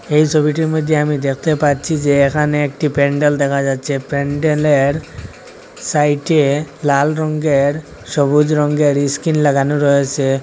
এই ছবিটির মধ্যে আমি দেখতে পাচ্ছি যে এখানে একটি প্যান্ডেল দেখা যাচ্ছে প্যান্ডেলের সাইডে লাল রঙ্গের সবুজ রঙ্গের ইস্কিন লাগানো রয়েছে।